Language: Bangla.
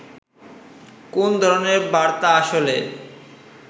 কোন ধরনের বার্তা আসলে